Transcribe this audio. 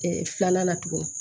filanan na tuguni